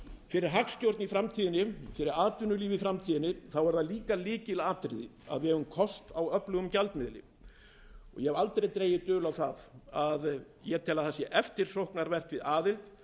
fyrir hagstjórn í framtíðinni fyrir atvinnulíf í framtíðinni er líka lykilatriði að við eigum kost á öflugum gjaldmiðli ég hef aldrei dregið dul á að ég tel eftirsóknarvert við aðild